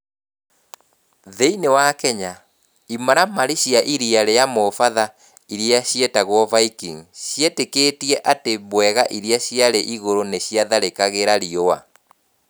Thĩinĩ wa Kenya, imaramari cia iria ria mũbatha iria cietagwo Vikings cietĩkĩtie atĩ mbwega iria ciarĩ igũrũ nĩ ciatharĩkagĩra riũa.